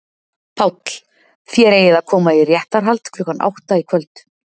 PÁLL: Þér eigið að koma í réttarhald klukkan átta í kvöld.